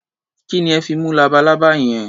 Kí ni ẹ fi mú labalábá yẹn?